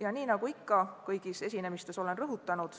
Ja nii nagu ma ikka kõigis esinemistes olen rõhutanud,